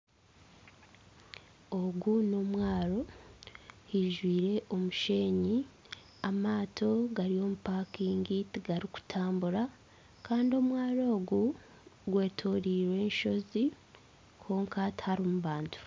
Ogu n'omwaro haijwire omusheenyi amato gari omu pakingi tigarikutambura kandi omwaro ogu gwetoroirwe enshozi kwonka tiharimu bantu